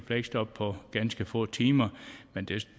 fleksjob på ganske få timer men